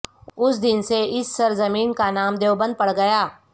اس دن سے اس سرزمین کا نام دیوبند پڑگیا